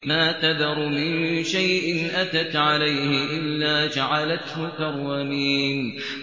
مَا تَذَرُ مِن شَيْءٍ أَتَتْ عَلَيْهِ إِلَّا جَعَلَتْهُ كَالرَّمِيمِ